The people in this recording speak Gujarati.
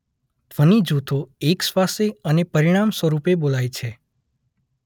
ધ્વનિ જૂથો અેકશ્વાસે અને પરિણામસ્વરૂપે બોલાય છે.